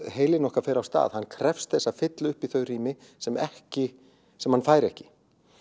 heilinn okkar fer af stað hann krefst þess að fylla upp í þau rými sem ekki sem hann fær ekki